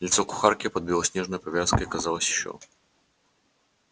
лицо кухарки под белоснежной повязкой казалось ещё